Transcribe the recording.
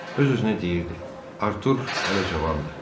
Öz-özünə deyirdi: Artur hələ cavandır.